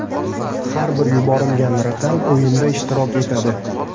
Har bir yuborilgan raqam o‘yinda ishtirok etadi.